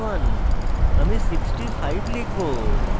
আমি 65 লিখব